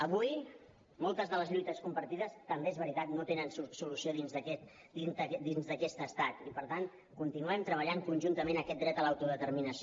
avui moltes de les lluites compartides també és veritat no tenen solució dins d’aquest estat i per tant continuem treballant conjuntament aquest dret a l’autodeterminació